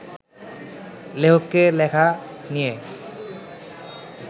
লেখককে লেখা নিয়ে